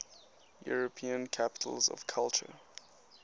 european capitals of culture